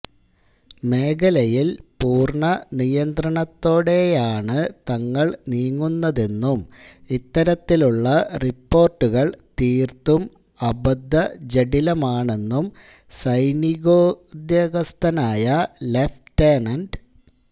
മേഖലയില് പൂര്ണനിയന്ത്രണത്തോടെയണ് തങ്ങള് നീങ്ങുന്നതെന്നും ഇത്തരത്തിലുള്ള റിപ്പോര്ട്ടുകള് തീര്ത്തും അബദ്ധജഡിലമാണെന്നും സൈനികോദ്യാഗസ്ഥനായ ലഫ്